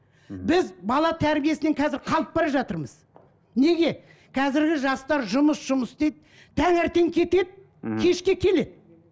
біз бала тәрбиесінен қазір қалып бара жатырмыз неге қазіргі жастар жұмыс жұмыс дейді таңертең кетеді кешке келеді